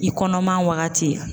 I kɔnɔman waagati.